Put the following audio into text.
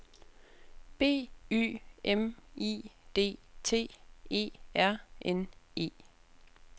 B Y M I D T E R N E